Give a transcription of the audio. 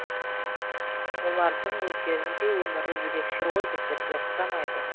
олардың өздерінің де өмірі ерекше ғой біздерге ұқсамайды